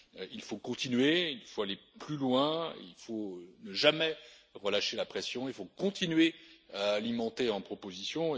Il faut continuer, il faut aller plus loin, il faut ne jamais relâcher la pression, il faut continuer à alimenter en propositions.